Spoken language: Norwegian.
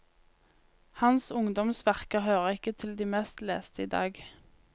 Hans ungdoms verker hører ikke til de mest leste i dag.